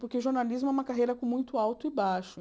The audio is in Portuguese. Porque jornalismo é uma carreira com muito alto e baixo.